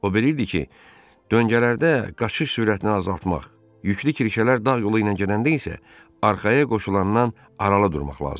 O bilirdi ki, döngələrdə qaçış sürətini azaltmaq, yüklü kirşələr dağ yolu ilə gedəndə isə arxaya qoşulandan aralı durmaq lazımdır.